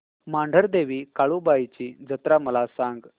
मांढरदेवी काळुबाई ची जत्रा मला सांग